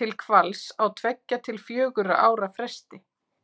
til hvals á tveggja til fjögurra ára fresti